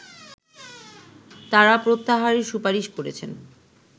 তারা প্রত্যাহারের সুপারিশ করেছেন